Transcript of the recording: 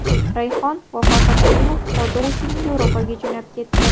Rayhon va Farhod Alimov hordiq uchun Yevropaga jo‘nab ketdi.